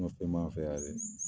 fɛn b'an fɛ yan dɛ!